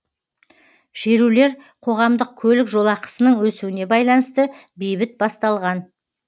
шерулер қоғамдық көлік жолақысының өсуіне байланысты бейбіт басталған